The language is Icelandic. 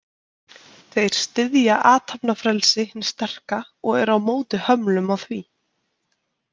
Þeir styðja athafnafrelsi hins sterka og eru á móti hömlum á því.